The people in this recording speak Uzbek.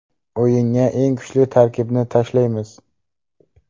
O‘yinga eng kuchli tarkibni tashlaymiz”.